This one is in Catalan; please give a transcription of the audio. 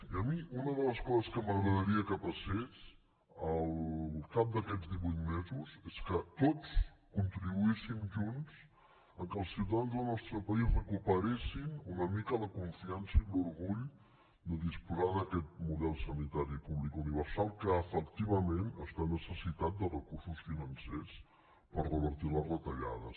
i a mi una de les coses que m’agradaria que passés al cap d’aquests divuit mesos és que tots contribuíssim junts que els ciutadans del nostre país recuperessin una mica la confiança i l’orgull de disposar d’aquest model sanitari públic universal que efectivament està necessitat de recursos financers per revertir les retallades